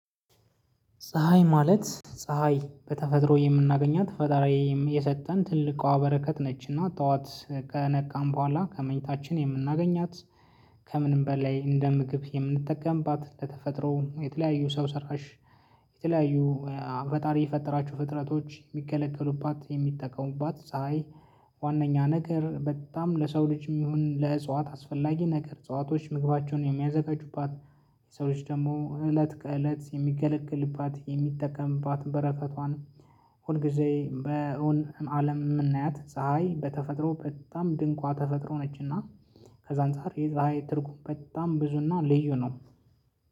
ፀሀይ ማለት ፀሀይ በተፈጥሮ የምናገኛት ፈጣሪዬም የሰጠን ትልቋ በረከት ነችና ጠዋት ከነቃን በኋላ ከመኝታችን የምናገኛት። ከምንም በላይ እንደ ምግብ የምንጠቀምባት ለተፈጥሮ የተለያዩ ሰው ሰራሽ የተለያዩ ፈጣሪ የፈጠራችሁ ፍጥረቶች የሚከለክሉባት የሚጠቀሙባት ፀሀይ። ዋናኛ ነገር በጣም ለሰው ልጅም ይሁን ለእጽዋት አስፈላጊ ነገር እጽዋቶች ምግባቸውን የሚያዘጋጁባት። የሰዎች ደግሞ እለት ከእለት የሚገለግልባት የሚጠቀምባት በረከቷን ሁልጊዜ። በአለም የምናያት ፀሀይ በተፈጥሮ በጣም ድንኳ ተፈጥሮ ነችና። ከዛ አንፃር የፀሀይ ትርጉም በጣም ብዙና ልዩ ነው።